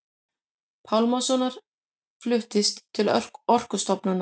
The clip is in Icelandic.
Pálmasonar fluttist til Orkustofnunar.